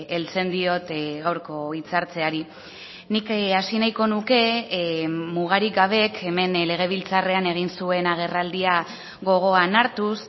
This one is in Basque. heltzen diot gaurko hitzartzeari nik hasi nahiko nuke mugarik gabek hemen legebiltzarrean egin zuen agerraldia gogoan hartuz